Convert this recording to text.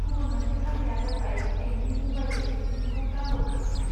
गुबुन मोनसे राहाया जाबाय बेंकनि म'बाइल एप्लिकेशनखौ डाउनल'ड खालामनाय।